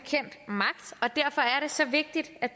så vigtigt at